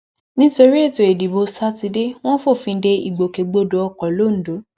nítorí ètò ìdìbò sátidé wọn fòfin de ìgbèkègbodò ọkọ londo